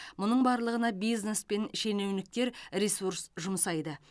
мұның барлығына бизнес пен шенеуніктер ресурс жұмсайды